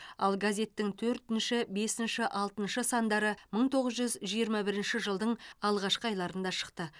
ал газеттің төртінші бесінші алтыншы сандары мың тоғыз жүз жиырма бірінші жылдың алғашқы айларында шықты